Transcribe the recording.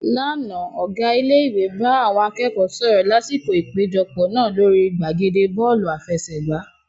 Lánàá, Ọ̀gá ilé ìwé bá àwọn akẹ́kọ̀ọ́ sọ̀rọ̀ lásìkò ìpéjọpọ̀ náà lórí gbàgede Bọ́ọ̀lù àfẹsẹ̀gbá